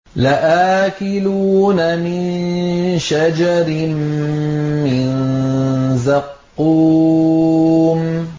لَآكِلُونَ مِن شَجَرٍ مِّن زَقُّومٍ